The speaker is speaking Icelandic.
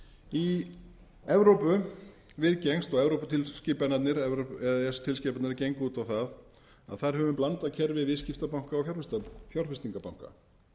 í evrópu viðgengst og e e s tilskipanirnar gengu út á það að þar höfum við blandað kerfi viðskiptabanka og fjárfestingarbanka